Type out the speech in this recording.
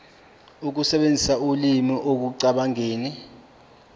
samazwe amabili sinikezwa